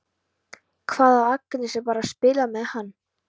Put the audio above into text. Hvað ef Agnes er bara að spila með hann?